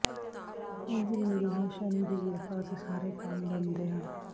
ਇੰਝ ਮਿਲਦੀ ਹੈ ਸ਼ਨੀ ਦੀ ਕ੍ਰਿਪਾ ਅਤੇ ਸਾਰੇ ਕੰਮ ਬਣਦੇ ਹਨ